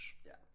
Ja